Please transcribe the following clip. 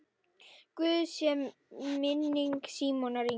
Blessuð sé minning Símonar Inga.